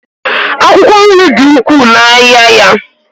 akwụkwọ nri dị ukwuu n'ahịa ya